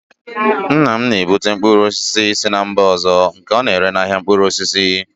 Nna m na-ebubata mkpụrụ osisi si mba ọzọ nke ọ na-ere n'ahịa mkpụrụ osisi